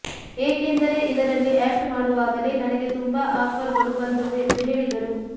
ಏಕೆಂದರೆ ಇದರಲ್ಲಿ ಆಕ್ಟ್ ಮಾಡುವಾಗಲೇ ನನಗೆ ತುಂಬಾ ಆಫರ್ಗಳು ಬಂದವು ಎಂದು ಹೇಳಿದರು